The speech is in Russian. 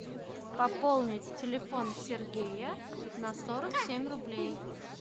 пополнить телефон сергея на сорок семь рублей